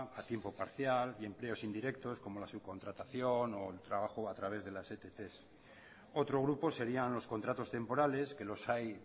a tiempo parcial empleos indirectos como la subcontratación o el trabajo a través de las ett otro grupo serían los contratos temporales que los hay